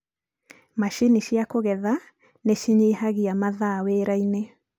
machinĩ cia kũgetha nĩ cinyihagia mathaa wĩra-inĩ